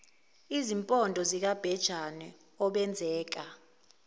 izimpondo zikabhejane obenzeka